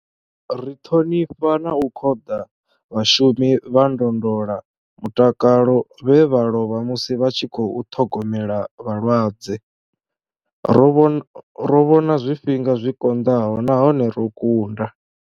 Ri ṱhonifha na u khoḓa vhashumi vha ndondolamutakalo vhe vha lovha musi vha tshi khou ṱhogomela vhalwadze. Ro vhona zwifhinga zwi konḓaho nahone ro kunda.